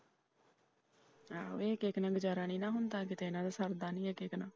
ਇੱਕ ਇੱਕ ਨਾਲ ਗੁਜਾਰਾ ਨਹੀਂ ਨਾ ਹੁੰਦਾ ਕੀਤੇ ਇਹਨਾਂ ਦਾ ਸਰਦਾ ਨਹੀਂ ਇੱਕ ਨਾਲ।